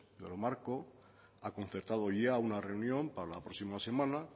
lo marco ha concertado ya una reunión para la próxima semana